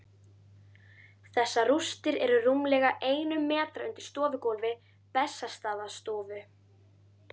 Þessar rústir eru rúmlega einum metra undir stofugólfi Bessastaðastofu.